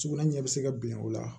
Sugunɛ ɲɛ bɛ se ka bin o la